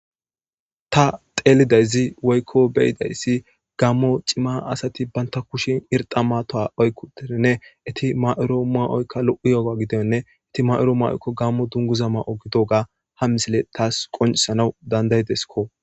Ta xeelidayzi woykko beyidayssi gammo cima asati banta kushin irxa matoa oykkudeinne eti ma7oro ma7oykka lo7u yogo gidenne eti ma7oro maoykko gammo dunguza ma7o gidoga ha misile taas qonisanaw dandaydeskko